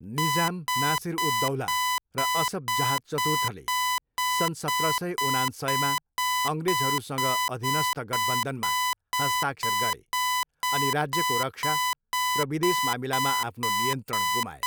निजाम, नासिर उद् दौलाह र असफ जाह चतुर्थले सन् सत्र सय उनान्सयमा अङ्ग्रेजहरूसँग अधीनस्थ गठबन्धनमा हस्ताक्षर गरे अनि राज्यको रक्षा र विदेश मामिलामा आफ्नो नियन्त्रण गुमाए।